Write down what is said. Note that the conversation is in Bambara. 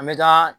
An bɛ taa